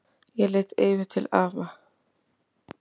Ég leit yfir til afa.